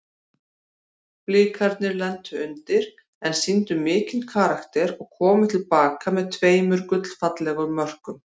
Blikarnir lentu undir en sýndu mikinn karakter og komu til baka með tveimur gullfallegum mörkum.